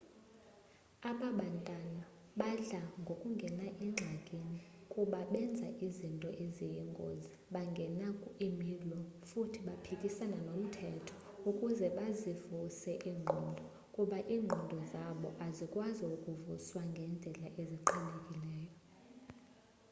abababantwana badla ngokungena engxakini kuba benza izinto eziyingozi bangena imilwo futhi baphikisana nomthetho ukuze bazivuse iingqondo kuba iingqondo zabu azikwazi ukuvuswa ngendlela eziqhelekileyo